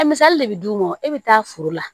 A misali de bɛ d'u ma e bɛ taa foro la